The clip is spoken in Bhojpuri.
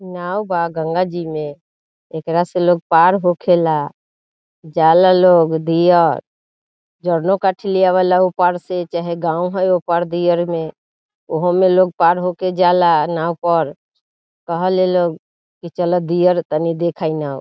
नाव बा गंगा जी में एकरा से लोग पार होेखे ला जाला लोग घीया जरनो काठी ले आबेला ऊपर से चाहे गांव ह ऊपर दिएल मे उहो मे लोग पार होके जाला नाव पर कहे ला लोग चला दियर कनी देखेंइया।